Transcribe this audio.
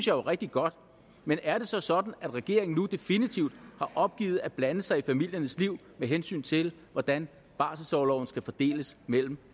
jo er rigtig godt men er det så sådan at regeringen nu definitivt har opgivet at blande sig i familiernes liv med hensyn til hvordan barselsorloven skal fordeles mellem